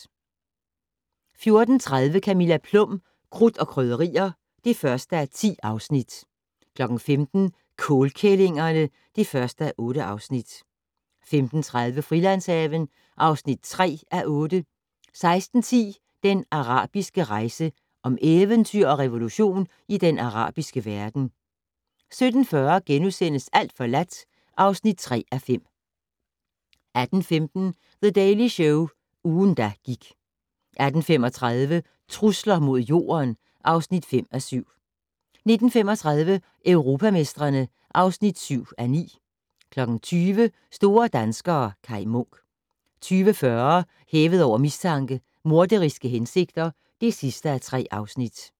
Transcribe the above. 14:30: Camilla Plum - Krudt og Krydderier (1:10) 15:00: Kålkællingerne (1:8) 15:30: Frilandshaven (3:8) 16:10: Den arabiske rejse: Om eventyr og revolution i den arabiske verden 17:40: Alt forladt (3:5)* 18:15: The Daily Show - ugen, der gik 18:35: Trusler mod Jorden (5:7) 19:35: Europamestrene (7:9) 20:00: Store danskere - Kaj Munk 20:40: Hævet over mistanke: Morderiske hensigter (3:3)